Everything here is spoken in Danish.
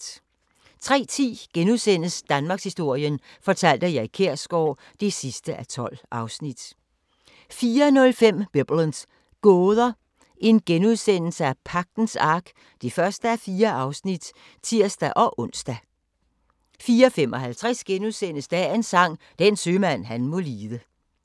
03:10: Danmarkshistorien fortalt af Erik Kjersgaard (12:12)* 04:05: Biblens gåder – Pagtens Ark (1:4)*(tir-ons) 04:55: Dagens Sang: Den sømand han må lide *